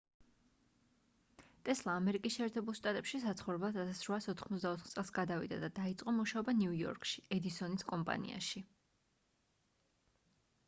ტესლა ამერიკის შეერთებულ შტატებში საცხოვრებლად 1884 წელს გადავიდა და დაიწყო მუშაობა ნიუ იორკში ედისონის კომპანიაში